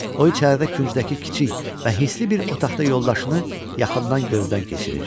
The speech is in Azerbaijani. O içərilərdə küncdəki kiçik və hisli bir otaqda yoldaşını yaxından gözdən keçirir.